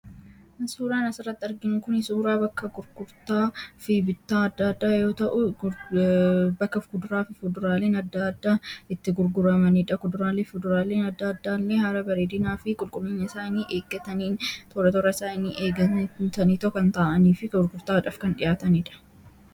Suuraan asirratti arginu kun suuraa bakka bittaa fi gurgurtaa adda addaa yoo ta'u, bakka fuduraalee fi kuduraaleen adda addaa itti gurguramanidha. Kuduraalee fi fuduraaleen adda addaa kunis haala bareedinaa fi qulqullina isaanii eeggattaniin, toora toora isaanii eeganii kan taa'anii fi gurgurtaadhaaf kan dhiyaatanidha.